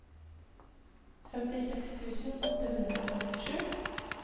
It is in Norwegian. femtiseks tusen åtte hundre og femtisju